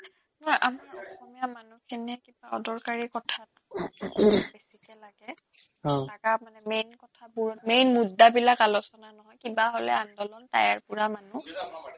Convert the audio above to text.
নহয় আমাৰ অসমীয়া মানুহখিনিয়ে কিবা অদৰকাৰী কথাত বেছিকে লাগে লাগা মানে main কথাবোৰত main মুদ্দাবিলাক আলোচনা নহয় কিবা হ'লে আন্দোলন টায়াৰ পোৰা মানুহ